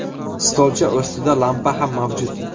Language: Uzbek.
Stolcha ustida lampa ham mavjud.